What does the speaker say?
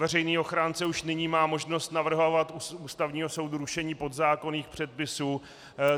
Veřejný ochránce už nyní má možnost navrhovat Ústavnímu soudu rušení podzákonných předpisů.